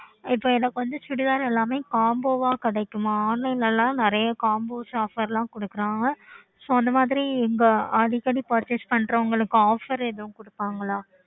okay